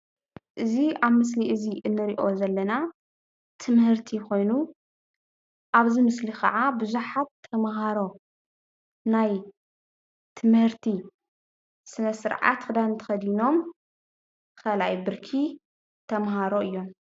እዚ ኣብ ምስሊ እዚ እንሪኦ ዘለና ትምህርቲ ኮይኑ ኣብዚ ምስሊ ክዓ ቡዙሓት ተምሃሮ ናይ ትምህርቲ ስነስርዓት ክዳን ተኸዲኖም ካልኣይ ብርኪ ተምሃሮ እዮም።